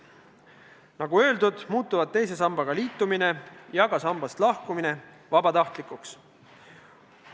Nagu öeldud, muutuvad teise sambaga liitumine ja ka sambast lahkumine vabatahtlikuks.